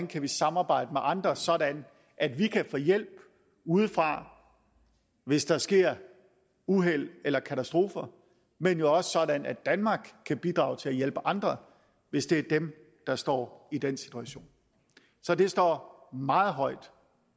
kan samarbejde med andre sådan at vi kan få hjælp udefra hvis der sker uheld eller katastrofer men jo også sådan at danmark kan bidrage til at hjælpe andre hvis det er dem der står i den situation så det står meget højt